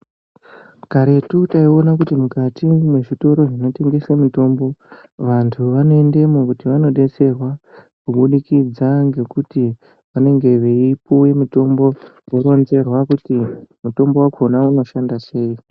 Karetu taiona kuti mukati mwezvitoro zvinotengese mutombo vantu vanoendemo kuti vanodetserwa kubudikidza ngekuti vanenge veipuwe mutombo voronzerwa kuti mutombo wakhona unoshanda sei